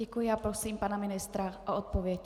Děkuji a prosím pana ministra o odpověď.